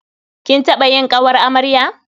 Kin taɓa yin ƙawar amarya?